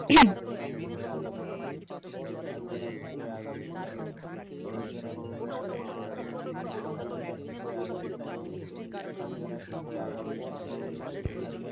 অবশ্যই সেটা ভালো কারণ আগে যে পড়ালেখার ধরণ ছিল সেটার থেকে কিন্তু বর্তমানে অনেকটাই উন্নত হয়েছে, এখন তার decision,